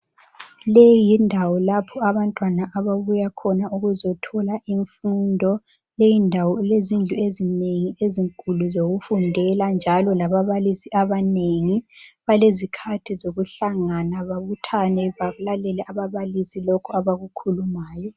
Leyi yindawo lapho abantwana ababuya khona ukuzothola imfundo. Leyindawo ilezindlu ezinengi ezinkulu zokufundela njalo lababalisi abanengi. Balezikhathi zokuhlangana babuthane balalele ababalisi lokhu abakukhulumayo.